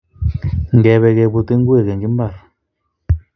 Ngebe kebut ingwek eng mbar